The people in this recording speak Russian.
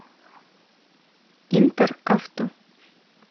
интер авто